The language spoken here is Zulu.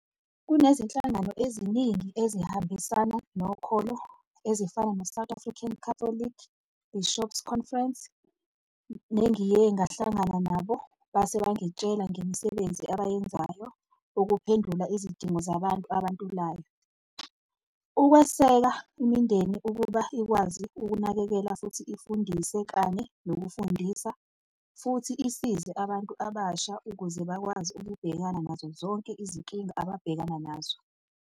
Kunezinhlangano eziningi ezihambisana nokholo ezifana no-South African Catholic Bishops' Conference, nengiye ngahlangana nabo base bangitshela ngemisebenzi abayenzayo ukuphendula izidingo zabantu abantulayo, ukweseka imindeni ukuba ikwazi ukunakekela futhi ifundise kanye nokufundisa futhi isize abantu abasha ukuze bakwazi ukubhekana nazo zonke izinkinga ababhekana nazo.